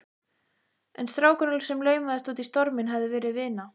En strákurinn sem laumaðist út í storminn hafði verið vina